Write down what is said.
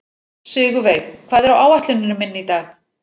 Sigurveig, hvað er á áætluninni minni í dag?